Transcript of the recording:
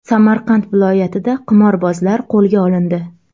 Samarqand viloyatida qimorbozlar qo‘lga olindi.